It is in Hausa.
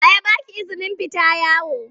Wa ya ba ki izinin fita yawo?